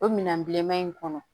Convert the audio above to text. O minɛn bilenman in kɔnɔ